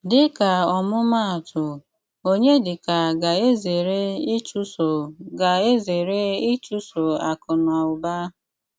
Díka ómụ̀máátụ, Ọnyédíkà gà-ézéré íchụ̀sọ́ gà-ézéré íchụ̀sọ́ àkù nà ụ́bà.